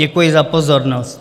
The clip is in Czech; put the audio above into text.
Děkuji za pozornost.